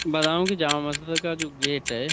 بدایوں کی جاما مسجد کا جو گیٹ ہے۔